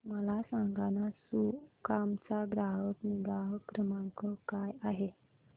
मला सांगाना सुकाम चा ग्राहक निगा क्रमांक काय आहे